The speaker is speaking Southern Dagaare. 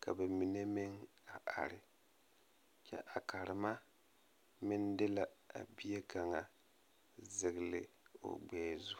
ka ba mine meŋ a are kyɛ a karema meŋ de la a bie kaŋa sigli o gbɛɛ zu.